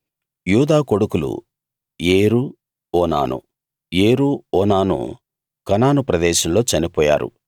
యూదా కొడుకులు ఏరు ఓనాను ఏరు ఓనాను కనాను ప్రదేశంలో చనిపోయారు